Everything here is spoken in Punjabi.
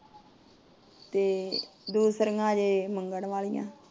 ਤੇ ਦੂਸਰੀਆਂ ਹਜੇ ਮੰਗਣ ਵਾਲੀਆਂ।